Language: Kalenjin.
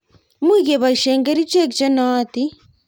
much keboishe kerichek che nootin